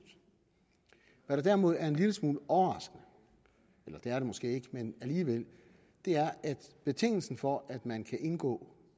hvad der derimod er en lille smule overraskende det er det måske ikke men alligevel er at betingelsen for at man kan indgå